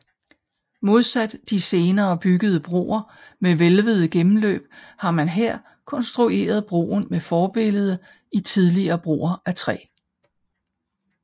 Modsat de senere byggede broer med hvælvede gennemløb har man her konstrueret broen med forbillede i tidligere broer af træ